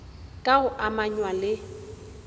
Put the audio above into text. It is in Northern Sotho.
ka go amanywa le go